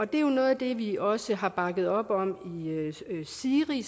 det er jo noget af det vi også har bakket op om i siri